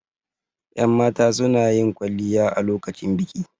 Yan mata sunayin kwalliya a lokacin biki